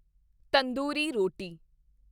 ਤੰਦੂਰੀ ਰੋਟੀ